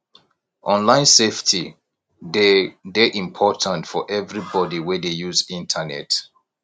online safety dey dey important for everybody wey dey use internet